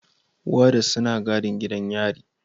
Warders suna gadin gidan yarin.